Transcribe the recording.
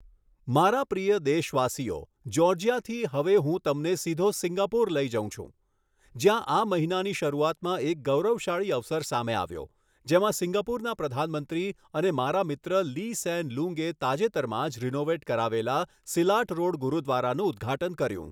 મારા પ્રિય દેશવાસીઓ, જ્યૉર્જિયાથી હવે હું તમને સીધો સિંગાપુર લઈ જઉં છું જ્યાં આ મહિનાની શરૂઆતમાં એક ગૌરવશાળી અવસર સામે આવ્યો, જેમાં સિંગાપુરના પ્રધાનમંત્રી અને મારા મિત્ર લી સેન લુંગે તાજેતરમાં જ રિનૉવેટ કરાવેલા સિલાટ રૉડ ગુરુદ્વારાનું ઉદ્ઘાટન કર્યું.